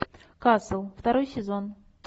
касл второй сезон